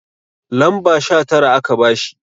lamba Sha Tara aka bashi